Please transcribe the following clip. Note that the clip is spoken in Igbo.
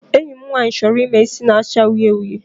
Enyi m nwaanyị chọrọ ime isi na-acha uhie uhie.